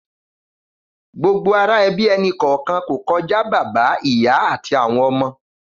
Gbógbó àrá èbí ẹni kọọkàn kó kòjá Bàbá, Ìyá àtí áwòn òmò